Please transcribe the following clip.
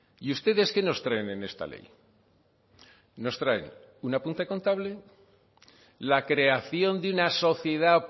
y ustedes qué nos traen en esta ley nos traen un apunte contable la creación de una sociedad